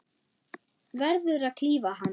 Verður að klífa hann.